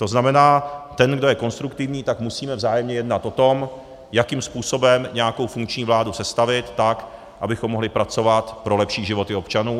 To znamená, ten, kdo je konstruktivní, tak musíme vzájemně jednat o tom, jakým způsobem nějakou funkční vládu sestavit tak, abychom mohli pracovat pro lepší životy občanů.